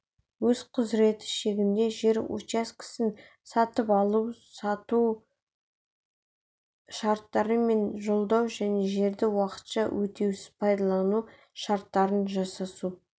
өз құзыреті шегінде жер учаскесін сатып алу-сату шарттары мен жалдау және жерді уақытша өтеусіз пайдалану шарттарын жасасу